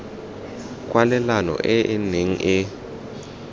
kwalelano e e neng e